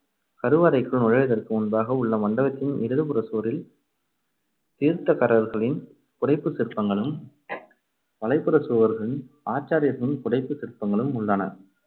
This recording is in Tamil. கருவறைக்குள் நுழைவதற்கு முன்பாக உள்ள மண்டபத்தின் இடது புறச்சுவரில் தீர்த்தகாரர்களின் புடைப்புச் சிற்பங்களும் வலப்புறச்சுவரில் ஆச்சாரியார்களின் புடைப்புச் சிற்பங்களும் உள்ளன.